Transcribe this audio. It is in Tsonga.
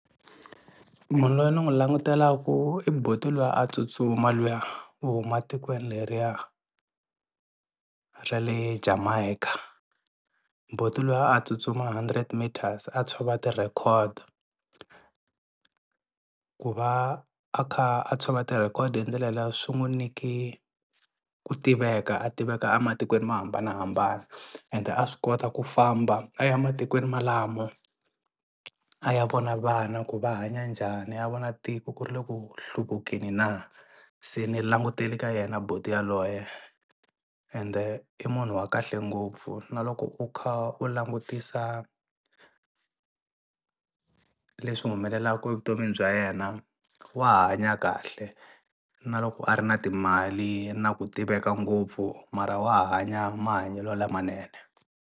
Munhu loyi ni n'wi langutelaku i buti luya a tsutsuma luya wo huma tikweni leriya ra le Jamaica. Buti luya a tsutsuma hundred meters a tshova ti-record. Ku va a kha a tshova ti-record hi ndlela liya swi n'wu nyike ku tiveka a tiveka a matikweni mo hambanahambana, ende a swi kota ku famba a ya matikweni ma lama, a ya vona vana ku va hanya njhani a ya vona tiko ku ri le ku hluvukeni na, se ni langutele ka yena buti yaloye ende i munhu wa kahle ngopfu na loko u kha u langutisa leswi humelelaku evutomini bya yena wa hanya kahle na loko a ri na timali na ku tiveka ngopfu mara wa hanya mahanyelo lamanene.